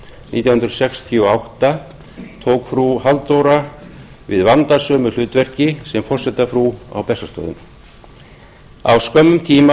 nítján hundruð sextíu og átta tók frú halldóra við vandasömu hlutverki sem forsetafrú á bessastöðum á skömmum tíma